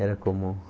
Era comum